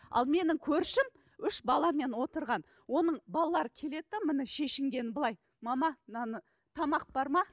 ал менің көршім үш баламен отырған оның балалары келеді де міне шешінгені былай мама мынаны тамақ бар ма